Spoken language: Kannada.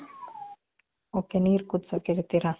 ok, ನೀರ್ ಕುದ್ಸಕ್ ಇಡ್ತೀರ.